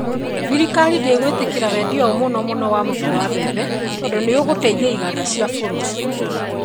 Thirikari ndĩngũĩtĩkĩria wendia ũyũ mũno mũno wa mũtu wa mbembe. Tondũ nĩ ũgũteithia iganda cia bũrũri.